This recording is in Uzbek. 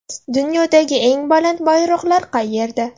Dunyodagi eng baland bayroqlar qayerda?